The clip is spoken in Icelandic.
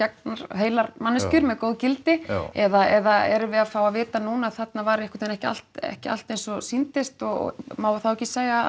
heilar manneskjur með góð gildi eða erum við að fá að vita núna að þarna var einhvern veginn ekki allt ekki allt eins og sýndist og má þá ekki segja